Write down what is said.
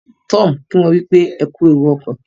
Tom kí wón wípé ẹkú ẹwù okọ